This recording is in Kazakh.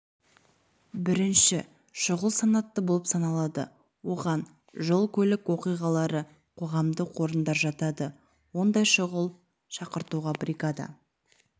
бірінші шұғыл санатты болып саналады оған жол көлік оқиғалары қоғамдық орындар жатады ондай шұғыл шақыртуға бригада